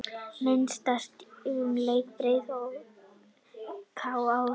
Myndasyrpa úr leik Breiðabliks og KR